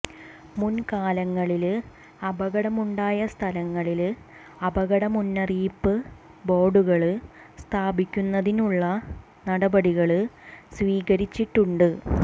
മുന്കാലങ്ങളില് അപകടമുണ്ടായ സ്ഥലങ്ങളില് അപകട മുന്നറിയിപ്പ് ബോര്ഡുകള് സ്ഥാപിക്കുന്നതിനുള്ള നടപടികള് സ്വീകരിച്ചിട്ടുണ്ട്